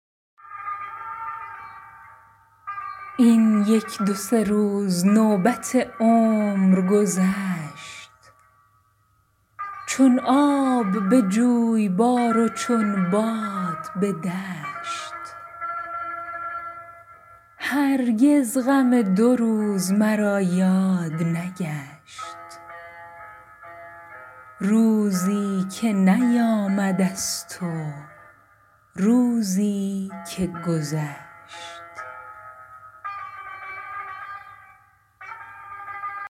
این یک دو سه روز نوبت عمر گذشت چون آب به جویبار و چون باد به دشت هرگز غم دو روز مرا یاد نگشت روزی که نیامده ست و روزی که گذشت